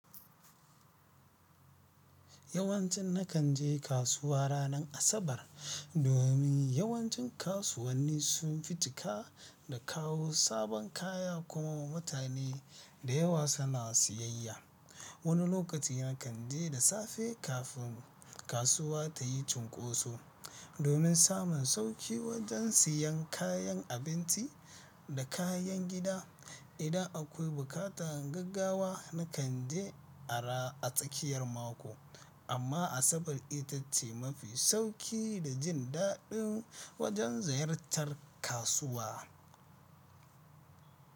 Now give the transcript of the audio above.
Yawancin nakan je kasuwa ranar Asabar, domin yawancin kasuwanni sun fi cika da kawo sabon kaya kuma mutane da yawa suna siyayya. Wani lokaci nakan je da safe kafin kasuwa ta yi cunkoso, domin samun sauƙi wajen siyan kayan abinci da kayan gida. Idan akwai buƙatan gaggawa nakan je a tsakiyar mako, amma Asabar ita ce mafi sauƙi da jin daɗin wajen ziyartar kasuwa.